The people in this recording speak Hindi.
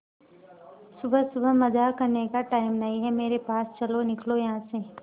सुबह सुबह मजाक करने का टाइम नहीं है मेरे पास चलो निकलो यहां से